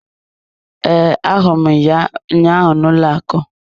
Ee, ahụrụ m ya ụnyaahụ n'ụlọ akụ.